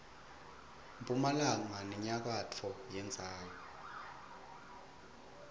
mphumalanga nenyakatfo yendzawo